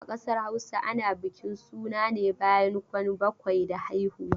A ƙasar Hausa ana bukin suna ne bayan kwan bakwai da haihuwa.